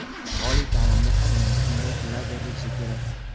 Oliy ta’limga ham endi shunday pullar berilishi kerak.